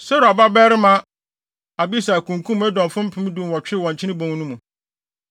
Seruia babarima Abisai kunkum Edomfo mpem dunwɔtwe wɔ Nkyene Bon no mu.